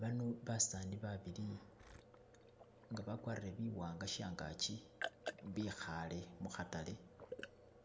Bano basani babili nga bagwarile biwanga shangagi bihale mukhatale